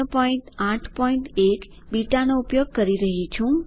081 બીટાનો ઉપયોગ કરી રહ્યી છું છે